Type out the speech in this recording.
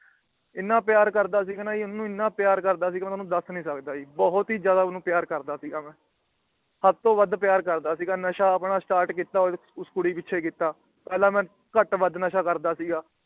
ਇੰਨਾ ਪਿਆਰ ਕਰਦਾ ਸੀ ਗਾ ਨਾ ਓਹਨੂੰ ਇੰਨਾ ਪਿਆਰ ਕਰਦਾ ਸੀ ਗਾ ਨਾ ਓਹਨੂੰ ਦੱਸ ਨਹੀਂ ਸਕਦਾ ਜੀ । ਬਹੁਤ ਹੀ ਜਿਆਦਾ ਓਹਨੂੰ ਪਿਆਰ ਕਰਦਾ ਸੀ ਗਾ ਮੈ। ਹੱਦ ਤੋਂ ਵੱਧ ਪਿਆਰ ਕਰਦਾ ਸੀ ਗਾ। ਨਸ਼ਾ ਆਪ ਮੈ Start ਕੀਤਾ ਉਸ ਕੁੜੀ ਪਿੱਛੇ ਕੀਤਾ। ਪਹਿਲਾ ਮੈ ਘੱਟ ਵੱਧ ਨਸ਼ਾ ਕਰਦਾ ਸੀ ਗਾ